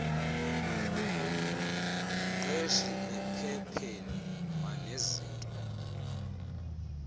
mqeshi ephepheni kwanezinto